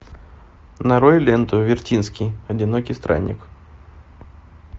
нарой ленту вертинский одинокий странник